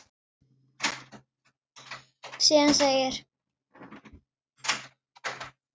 Gulur steinn í kopp.